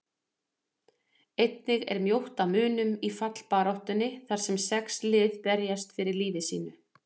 Einnig er mjótt á munum í fallbaráttunni þar sem sex lið berjast fyrir lífi sínu.